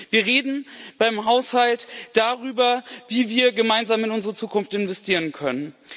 Wir reden beim Haushalt darüber, wie wir gemeinsam in unsere Zukunft investieren können.